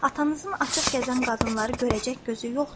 Atanızın açıq gəzən qadınları görəcək gözü yoxdur.